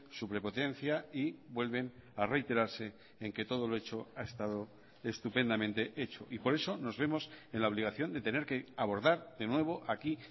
su prepotencia y vuelven a reiterarse en que todo lo hecho ha estado estupendamente hecho y por eso nos vemos en la obligación de tener que abordar de nuevo aquí